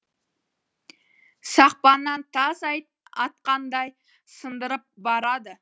сақпаннан тас атқандай сындырып барады